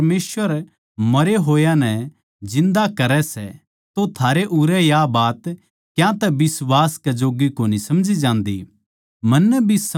जिब के परमेसवर मरे होया नै जिन्दा करै सै तो थारै उरै या बात क्यांतै बिश्वास कै जोग्गी कोनी समझी जान्दी